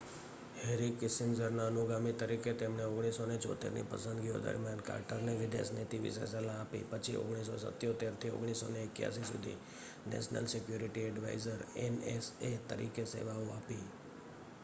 Henry કિસિંજરના અનુગામી તરીકે તેમણે 1976ની પસંદગીઓ દરમિયાન કાર્ટરને વિદેશ નીતિ વિશે સલાહ આપી પછી 1977થી 1981 સુધી નેશનલ સિક્યુરિટી ઍડ્વાઇઝર nsa તરીકે સેવાઓ આપી